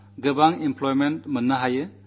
വളരെ തൊഴിലവസരങ്ങളുമുണ്ട്